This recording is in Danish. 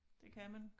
Det kan man